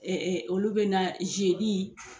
olu bɛ na zedi